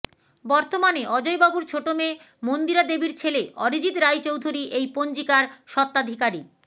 বর্তমানে অজয়বাবুর ছোট মেয়ে মন্দিরাদেবীর ছেলে অরিজিৎ রায়চৌধুরি এই পঞ্জিকার স্বত্বাধিকারী